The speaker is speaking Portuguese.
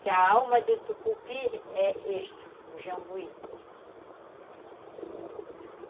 Que a alma do tucupi é isto, o jambuí.